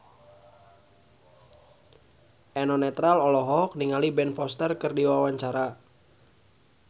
Eno Netral olohok ningali Ben Foster keur diwawancara